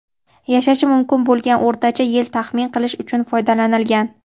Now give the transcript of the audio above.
yashashi mumkin bo‘lgan o‘rtacha yil taxmin qilish uchun foydalanilgan.